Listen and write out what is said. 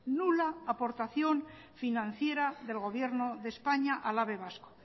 nula aportación financiera del gobierno de españa al ave vasco